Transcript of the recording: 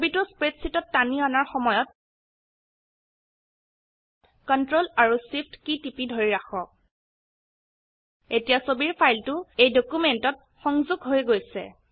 ছবিটো স্প্ৰেডশীটত টানি আনাৰ সময়ত কন্ট্ৰল আৰু Shift কী টিপি ধৰি ৰাখক এতিয়া ছবিৰ ফাইলটো এই ডকিউমেন্টত সংযুক্ত হৈ গৈছে